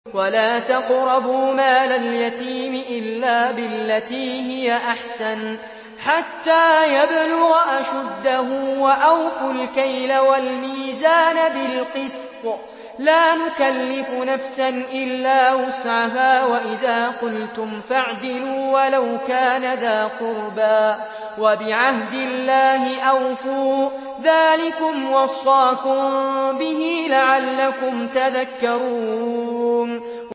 وَلَا تَقْرَبُوا مَالَ الْيَتِيمِ إِلَّا بِالَّتِي هِيَ أَحْسَنُ حَتَّىٰ يَبْلُغَ أَشُدَّهُ ۖ وَأَوْفُوا الْكَيْلَ وَالْمِيزَانَ بِالْقِسْطِ ۖ لَا نُكَلِّفُ نَفْسًا إِلَّا وُسْعَهَا ۖ وَإِذَا قُلْتُمْ فَاعْدِلُوا وَلَوْ كَانَ ذَا قُرْبَىٰ ۖ وَبِعَهْدِ اللَّهِ أَوْفُوا ۚ ذَٰلِكُمْ وَصَّاكُم بِهِ لَعَلَّكُمْ تَذَكَّرُونَ